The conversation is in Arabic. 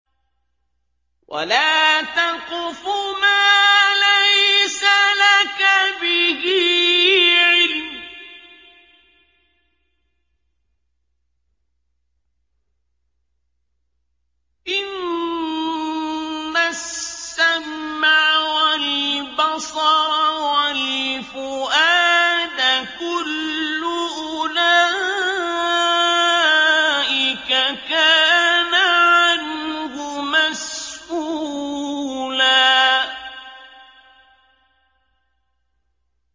وَلَا تَقْفُ مَا لَيْسَ لَكَ بِهِ عِلْمٌ ۚ إِنَّ السَّمْعَ وَالْبَصَرَ وَالْفُؤَادَ كُلُّ أُولَٰئِكَ كَانَ عَنْهُ مَسْئُولًا